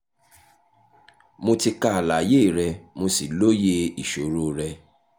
mo ti ka àlàyé rẹ mo sì lóye ìṣòro rẹ